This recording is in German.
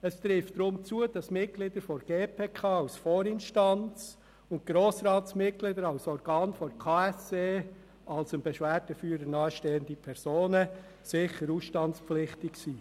Es trifft deshalb zu, dass die Mitglieder der GPK als Vorinstanz sowie Grossratsmitglieder mit Mandat für den Kantonalen Kies- und Betonverband (KSE Bern) als dem Beschwerdeführer nahestehende Personen sicher ausstandspflichtig sind.